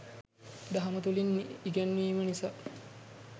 දහම තුළින් ඉගැන්වීම නිසා